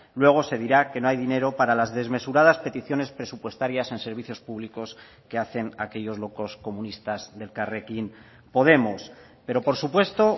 luego se dirá que no hay dinero para las desmesuradas peticiones presupuestarias en servicios públicos que hacen aquellos locos comunistas de elkarrekin podemos pero por supuesto